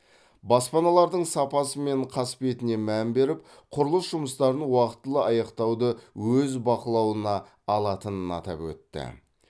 баспаналардың сапасы мен қасбетіне мән беріп құрылыс жұмыстарын уақтылы аяқтауды өз бақылауына алатынын атап өтті